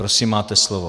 Prosím, máte slovo.